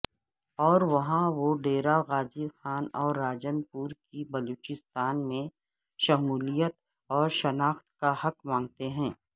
اوروہاں وہ ڈیرہ غازی خان اور راجن پور کی بلوچستان میں شمولیت اورشناخت کاحق مانگتےہیں